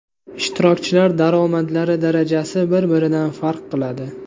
Ishtirokchilar daromadlari darajasi bir-biridan farq qiladi.